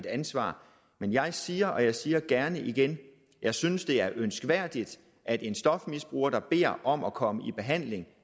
ansvaret men jeg siger og jeg siger det gerne igen jeg synes det er ønskværdigt at en stofmisbruger der beder om at komme i behandling og